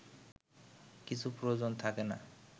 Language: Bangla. কিছু প্রয়োজন থাকে না